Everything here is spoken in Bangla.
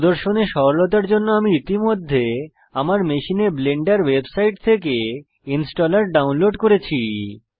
প্রদর্শনের সরলতার জন্য আমি ইতিমধ্যে আমার মেশিনে ব্লেন্ডার ওয়েবসাইট থেকে ইনস্টলার ডাউনলোড করেছি